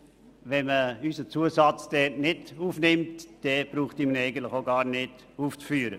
Wenn man unseren Zusatz nicht aufnimmt, müsste man ihn auch nicht aufführen.